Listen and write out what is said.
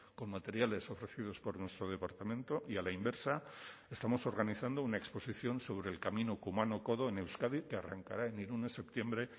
con materiales ofrecidos por nuestro departamento y a la inversa estamos organizando una exposición sobre el camino kumano kodo en euskadi que arrancará en irún en septiembre